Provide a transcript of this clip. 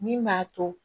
Min b'a to